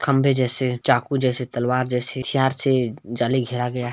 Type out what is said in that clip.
खंबे जैसे चाकू जैसे तलवार जैसे सियार से जाली घेरा गया--